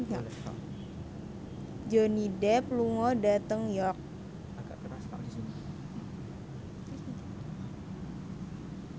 Johnny Depp lunga dhateng York